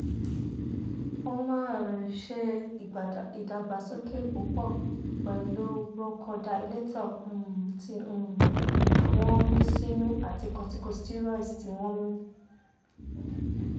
o máa ṣe ìdàgbàsókè púpọ̀ pẹ̀lú bronchodilator um tí um wọ́n mí sínú àti corticosteroids tí wọ́n mí